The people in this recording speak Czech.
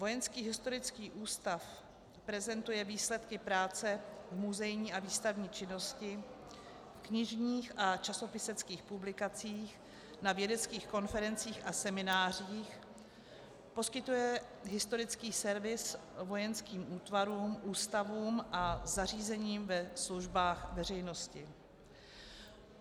Vojenský historický ústav prezentuje výsledky práce v muzejní a výstavní činnosti, v knižních a časopiseckých publikacích, na vědeckých konferencích a seminářích, poskytuje historický servis vojenským útvarům, ústavům a zařízením ve službách veřejnosti.